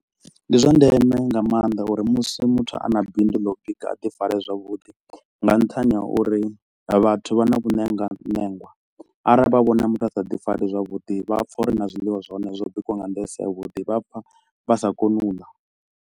Ndi zwa ndeme nga maanḓa uri musi muthu a na bindu ḽa u bika a ḓi fare zwavhuḓi nga nṱhani ha uri vhathu vha na vhuṋengwa ṋengwa arali vha vhone muthu a sa ḓi fari zwavhuḓi vha pfa uri na zwiḽiwa zwa hone zwo bikiwa nga nḓila i si ya vhuḓi vha pfa vha sa koni u ḽa.